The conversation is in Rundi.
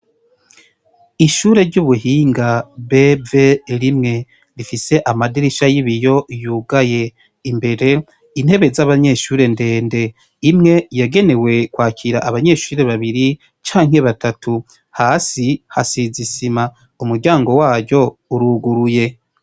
Ishure ry’ubuhinga BV1 rifise amadirisha y’ibiyo yugaye, imbere intebe z’abanyeshure ndende imwe yagenewe kwakira abanyeshure babiri canke batatu , hasi hasize isima umuryango waryo uruguruye .